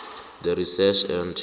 the research and